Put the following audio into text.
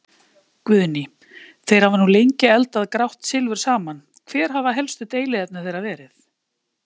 Guðný: Þeir hafa nú lengi eldað grátt silfur saman, hver hafa helstu deiluefni þeirra verið?